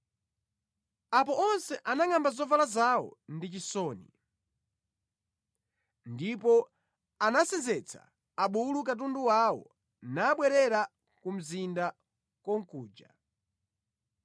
Apo onse anangʼamba zovala zawo ndi chisoni. Ndipo anasenzetsa abulu katundu wawo nabwerera ku mzinda konkuja.